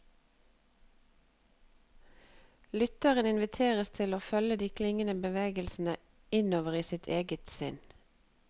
Lytteren inviteres til å følge de klingende bevegelsene innover i eget sinn.